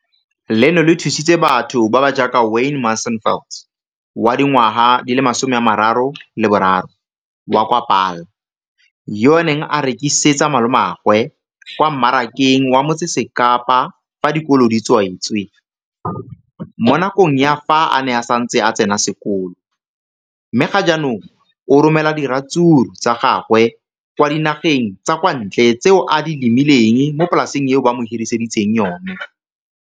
Leno le thusitse batho ba ba jaaka Wayne Mansfield, 33, wa kwa Paarl, yo a neng a rekisetsa malomagwe kwa Marakeng wa Motsekapa fa dikolo di tswaletse, mo nakong ya fa a ne a santse a tsena sekolo, mme ga jaanong o romela diratsuru tsa gagwe kwa dinageng tsa kwa ntle tseo a di lemileng mo polaseng eo ba mo hiriseditseng yona.